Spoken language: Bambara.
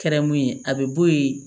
Kɛra mun ye a bɛ bɔ yen